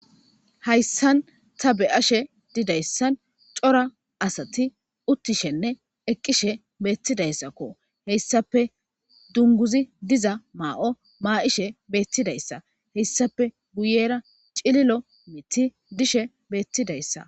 hayssan ta be7ashe didayssan cora asati uttishenne eqqishe beettidayssakko heyssape dunguzi diza maa7o maa7ishe beettidayssa heyssape guyera cililo mithi dishe beettidayssa